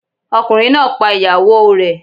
Ọkùnrin náà pa ìyàwó o rẹ̀.